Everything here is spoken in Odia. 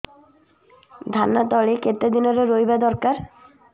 ଧାନ ତଳି କେତେ ଦିନରେ ରୋଈବା ଦରକାର